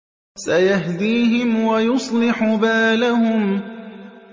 سَيَهْدِيهِمْ وَيُصْلِحُ بَالَهُمْ